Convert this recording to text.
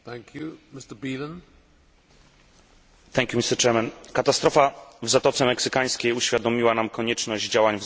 Katastrofa w Zatoce Meksykańskiej uświadomiła nam konieczność działań w zakresie podniesienia poziomu bezpieczeństwa w przemyśle wydobywczym.